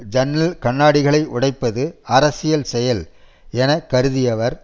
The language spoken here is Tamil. ஜன்னல் கண்ணாடிகளை உடைப்பது அரசியல் செயல் எனக்கருதியவர்